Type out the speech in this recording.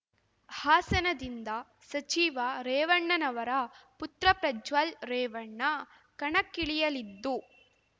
ಹಾಸನದಿಂದ ಸಚಿವ ರೇವಣ್ಣನವರ ಪುತ್ರ ಪ್ರಜ್ವಲ್ ರೇವಣ್ಣ ಕಣಕ್ಕಿಳಿಯಲಿದ್ದು